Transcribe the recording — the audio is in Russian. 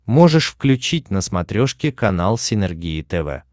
можешь включить на смотрешке канал синергия тв